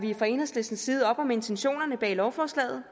vi fra enhedslistens side op om intentionerne bag lovforslaget